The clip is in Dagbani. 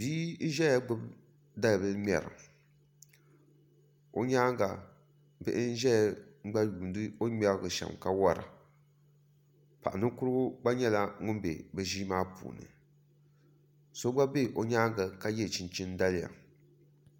Bia n ʒɛya gbubi dalibili ŋmɛra o nyaanga bihi n ʒɛya n gba yuundi o ni ŋmɛrili shɛm ka wora paɣa ninkurigu gba nyɛla ŋun bɛ bi ʒii maa puuni so gba bɛ o nyaanga ka yɛ chinchin daliya